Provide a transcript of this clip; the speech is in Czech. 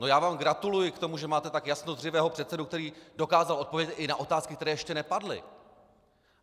No, já vám gratuluji k tomu, že máte tak jasnozřivého předsedu, který dokázal odpovědět i na otázky, které ještě nepadly.